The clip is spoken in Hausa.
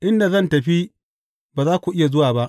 Inda zan tafi, ba za ku iya zuwa ba.